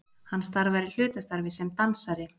Hann starfar í hlutastarfi sem dansari